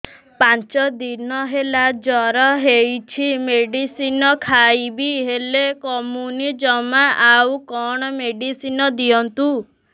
ପାଞ୍ଚ ଦିନ ହେଲା ଜର ହଉଛି ମେଡିସିନ ଖାଇଛି ହେଲେ କମୁନି ଜମା ଆଉ କଣ ମେଡ଼ିସିନ ଦିଅନ୍ତୁ